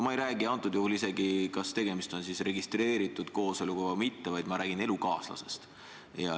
Ma ei räägi isegi sellest, kas tegemist on registreeritud kooseluga või mitte, vaid ma räägin elukaaslasest.